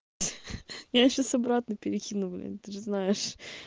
хе-хе я сейчас обратно перекину блин ты же знаешь